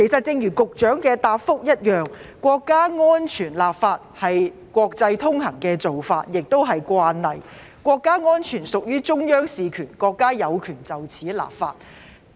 正如局長的答覆提及，國家安全立法是國際通行的做法和慣例，國家安全屬於中央事權，國家有權就此立法。